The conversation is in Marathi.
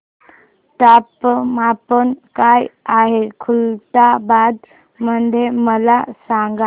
तापमान काय आहे खुलताबाद मध्ये मला सांगा